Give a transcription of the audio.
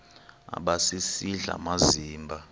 aba sisidl amazimba